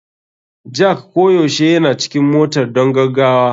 Jack koyaushe yana cikin motar don gaggawa.